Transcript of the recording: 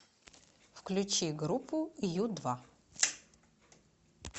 включи группу ю два